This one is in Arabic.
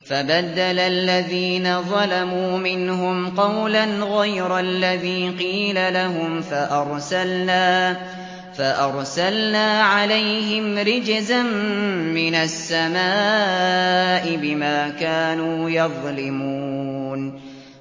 فَبَدَّلَ الَّذِينَ ظَلَمُوا مِنْهُمْ قَوْلًا غَيْرَ الَّذِي قِيلَ لَهُمْ فَأَرْسَلْنَا عَلَيْهِمْ رِجْزًا مِّنَ السَّمَاءِ بِمَا كَانُوا يَظْلِمُونَ